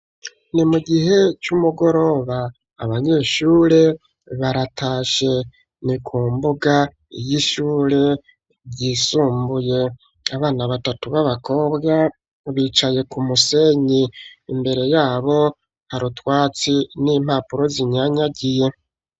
Ni mu gihe c'umugoroba. Abanyeshure baratashe, ni ku mbuga y'ishure ryisumbuye, abana batatu b'abakobwa bicaye ku musenyi imbere yabo harutwatsi n'impapuro zinyanyagiye.